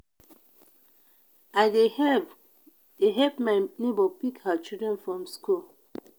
i dey help dey help my nebor pick her children from skool.